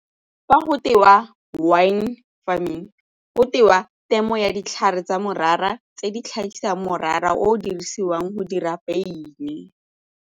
Fa go tewa wine farming go tewa temo ya ditlhare tsa morara tse di tlhagisang morara o o dirisiwang go dira beine.